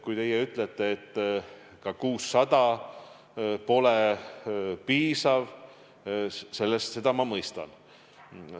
Kui teie ütlete, et ka 600 pole piisav, siis ma mõistan seda.